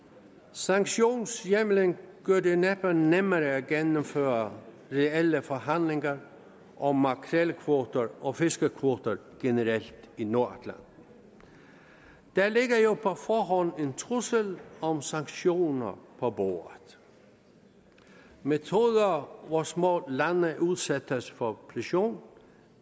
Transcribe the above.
sanktionshjemlen gør det næppe nemmere at gennemføre reelle forhandlinger om makrelkvoter og fiskekvoter generelt i nordatlanten der ligger jo på forhånd en trussel om sanktioner på bordet metoder hvor små lande udsættes for pression